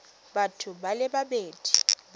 batho ba le babedi ba